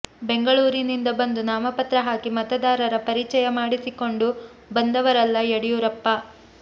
ಬೆಂಗಳೂರಿನಿಂದ ಬಂದು ನಾಮಪತ್ರ ಹಾಕಿ ಮತದಾರರ ಪರಿಚಯ ಮಾಡಿಸಿಕೊಂಡು ಬಂದವರಲ್ಲ ಯಡಿಯೂರಪ್ಪ